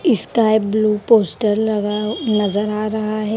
Sky blue poster लगा नजर आ रहा है।